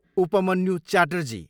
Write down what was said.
Upmanyu Chatterjee